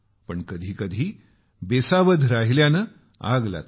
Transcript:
पण कधी कधी बेसावध राहिल्यानं आग लागते